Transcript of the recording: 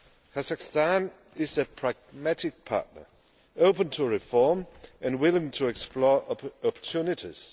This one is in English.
Kazakhstan is a pragmatic partner, open to reform and willing to explore opportunities.